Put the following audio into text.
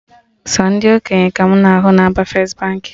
Sọ ndị okenye ka mụ na ahụ na-aba first Baankị